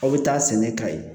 Aw bɛ taa sɛnɛ ka ye